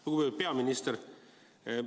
Lugupeetud peaminister!